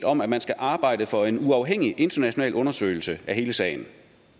om at man skal arbejde for en uafhængig international undersøgelse af hele sagen